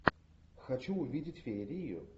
хочу увидеть феерию